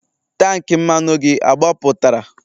tank mmanụ gị agbapụtara?